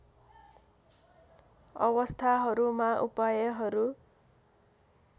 अवस्थाहरूमा उपायहरू